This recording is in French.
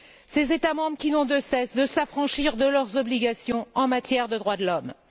Ces États membres qui n'ont de cesse de s'affranchir de leurs obligations en matière de droits de l'homme.